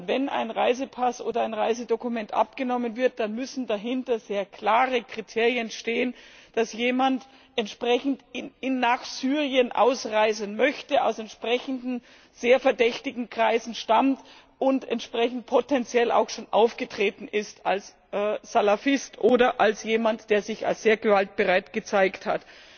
Wenn ein Reisepass oder ein Reisedokument abgenommen wird, dann müssen dahinter sehr klare Kriterien stehen, dass jemand entsprechend nach Syrien ausreisen möchte aus entsprechenden sehr verdächtigen Kreisen stammt und entsprechend potenziell auch schon aufgetreten ist als Salafist oder als jemand, der sich als sehr gewaltbereit gezeigt hat.